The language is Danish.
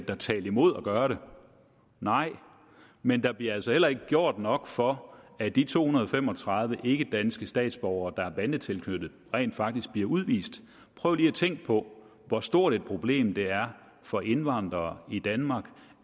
der talte imod at gøre det nej men der bliver altså heller ikke gjort nok for at de to hundrede og fem og tredive ikkedanske statsborgere der er bandetilknyttet rent faktisk bliver udvist prøv lige at tænke på hvor stort et problem det er for indvandrere i danmark